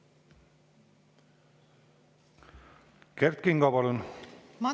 Kert Kingo, palun!